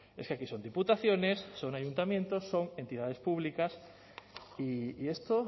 es que aquí son diputaciones son ayuntamientos son entidades públicas y esto